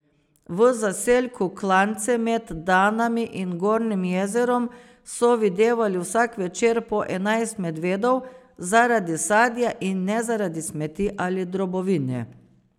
V zaselku Klance med Danami in Gornjim jezerom so videvali vsak večer po enajst medvedov, zaradi sadja, in ne zaradi smeti ali drobovine.